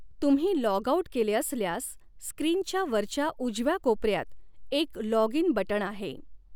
तुम्ही log out केले असल्यास स्क्रीनच्या वरच्या उजव्या कोपऱ्यात एक लॉग इन बटण आहे.